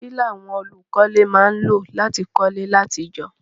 Kílàwon olùkọ́lé má n lò láti kólé látijọ́